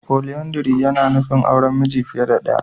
Foliyandari yana nufin auren miji fiye da ɗaya.